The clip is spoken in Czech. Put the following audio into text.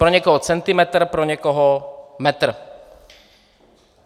Pro někoho centimetr, pro někoho metr.